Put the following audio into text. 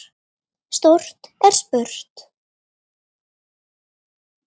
Stórt er spurt.